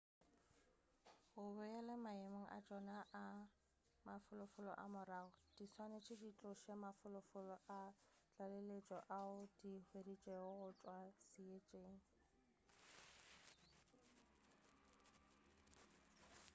go boele maemong a tšona a mafolofolo a morago di swanetše di tloše mafolofolo a tlaleletšo ao di a hweditšego go tšwa seetšeng